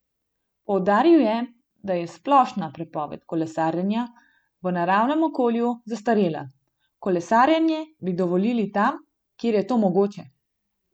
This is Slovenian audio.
Poudaril je, da je splošna prepoved kolesarjenja v naravnem okolju zastarela: 'Kolesarjenje bi dovolili tam, kjer je to mogoče.